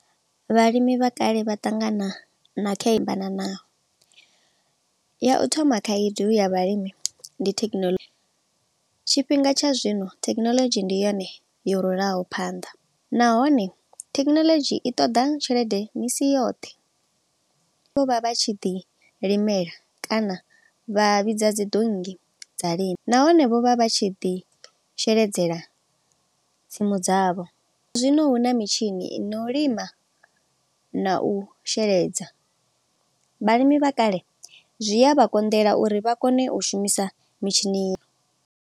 Vhalimi vha kale vha ṱangana na ya u thoma khaedu ya vhalimi, ndi thekinoḽodzhi. Tshifhinga tsha zwino thekinoḽodzhi ndi yone yo rulaho phanḓa, nahone thekinoḽodzhi i ṱoḓa tshelede misi yoṱhe. Vho vha vha tshi ḓi limela kana vha vhidza dzi donngi dza lima. Nahone vho vha vha tshi ḓi sheledzela tsimu dzavho, zwa zwino hu na mitshini i no lima na u sheledza. Vhalimi vha kale zwi a vha konḓela uri vha kone u shumisa mitshini.